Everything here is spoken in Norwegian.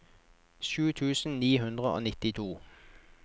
sju tusen ni hundre og nittito